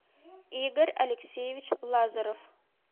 игорь алексеевич лазарев